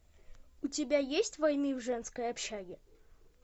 у тебя есть войны в женской общаге